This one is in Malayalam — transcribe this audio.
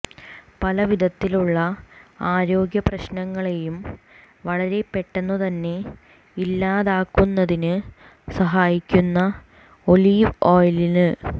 പല വിധത്തിലുള്ള ആരോഗ്യ പ്രശ്നങ്ങളേയും വളരെ പെട്ടെന്ന് തന്നെ ഇല്ലാതാക്കുന്നതിന് സഹായിക്കുന്നു ഒലീവ് ഓയില്